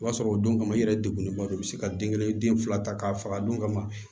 O b'a sɔrɔ o don kama i yɛrɛ degun ne ba do i bɛ se ka den kelen den fila ta k'a faga a don kama